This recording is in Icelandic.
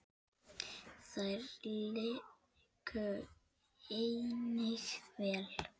Þeir léku einnig vel.